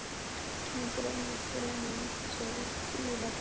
Mig dreymdi draum í nótt, sagði síra Björn.